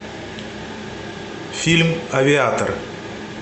фильм авиатор